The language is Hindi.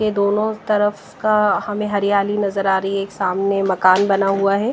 ये दोनों तरफ का हमें हरियाली नजर आ रही है एक सामने मकान बना हुआ है।